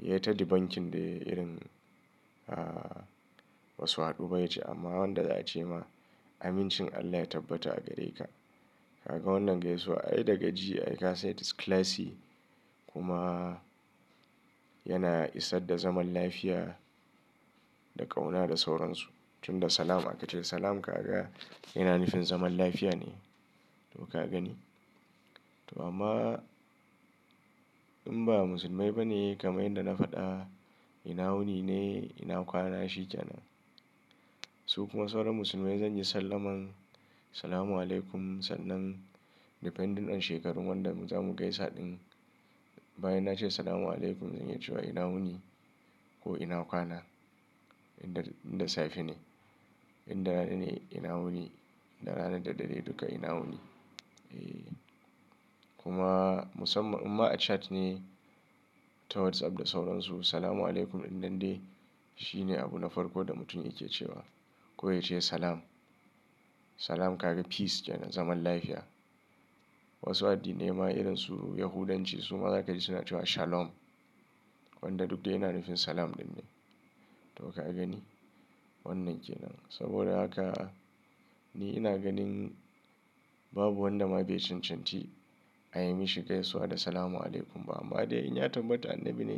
Ya taddi bankin dai irin ah wasu haɗube yake. Amma wanda ya ce ma amincin Allah ya tabbata a gare ka. Kaga wannan gaisuwa ai daga ji ai ka sai it is classy kuma yana isar da zaman lafiya da ƙauna da sauransu. Tun da salam aka ce salam ka ga yana nufin zaman lafiya ne. To ka gani. To amma in ba musulmai ba ne kamar yanda na faɗa ina wuni ne ina kwana shike nan. Su kuma sauran musulmai zan yi sallamar Assalamualaikum sannan depending on shekarun wanda mu zamu gaisa ɗin. Bayan na ce Assalamualaikum zan iya cewa ina wuni ko ina kwana idan, idan safe ne. Idan rana ne ina wuni. Da ranar da dare duka ina wuni. Eh kuma musamman amma a chat ne ta WhatsApp da sauransu Assalamualaikum in dan dai shi ne abu na farko da mutum yake cewa. Ko ya ce salam. Salam ka ga peace yana zaman lafiya. Wasu addinai ma irinsu Yahudanci su ma za ka ji suna cewa Shalom. Wanda duk da yana nufin salam ɗin ne. To ka gani wannan kenan. Saboda haka ni ina ganin babu wanda ma bai cincinti a yi mishi gaisuwa da Assalamualaikum ba amma dai in ya tabbata annabi ne.